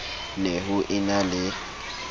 ne ho e na le